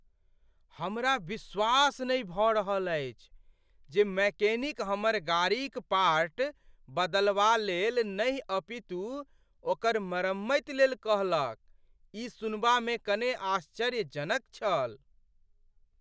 हमरा विश्वास नहि भऽ रहल अछि जे मैकेनिक हमर गाड़ीक पार्ट बदलवा लेल नहि अपितु ओकर मरम्मति लेल कहलक। ई सुनबामे कने आश्चर्यजनक छल।